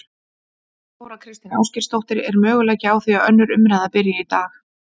Þóra Kristín Ásgeirsdóttir: Er möguleiki á því að önnur umræða byrji í dag?